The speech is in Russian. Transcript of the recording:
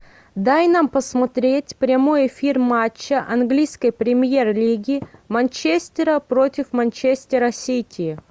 дай нам посмотреть прямой эфир матча английской премьер лиги манчестера против манчестера сити